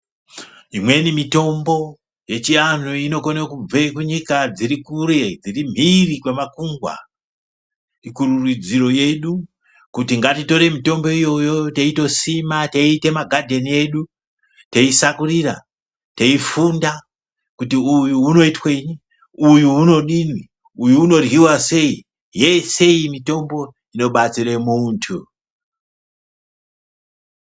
Imweni mitombo yechianhu inokone kubve kunyika dziri kure dziri mhiri kwemakungwa kurudziro yedu kuti ngatitorei mitombo iyoyo teitosima teiite magadheni edu teisakurira teifunda kuti uyu unoitwei uyu unodini uyu unoryiwa sei yese mitombo inobatsire muntu.